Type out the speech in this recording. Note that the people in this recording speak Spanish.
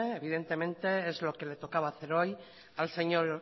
evidentemente es lo que le tocaba hacer hoy al señor